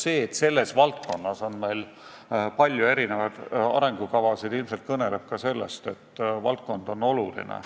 See, et selles valdkonnas on meil palju arengukavasid, kõneleb ilmselt ka sellest, et valdkond on oluline.